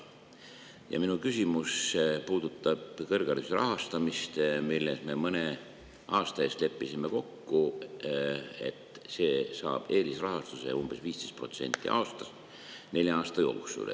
Ja minu küsimus puudutab kõrghariduse rahastamist, milles me mõne aasta eest leppisime kokku nii: see saab eelisrahastuse umbes 15% aastas nelja aasta jooksul.